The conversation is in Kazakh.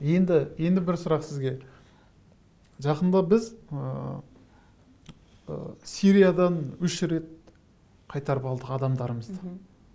енді енді бір сұрақ сізге жақында біз ы сириядан үш рет қайтарып алдық адамдарымызды мхм